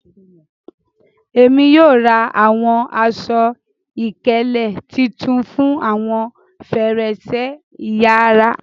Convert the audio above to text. Ẹ̀mi yóò rá awọn àṣọ-ìkẹlẹ̀ títún fún awọn fẹ̀rẹ̀ṣẹ̀ ìyàrà.